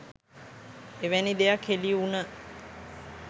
එවැනි දෙයක් හෙළිවුණ